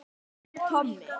En hver er Tommi?